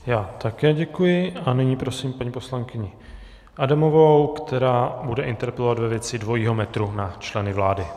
Já také děkuji a nyní prosím paní poslankyni Adamovou, která bude interpelovat ve věci dvojího metru na členy vlády.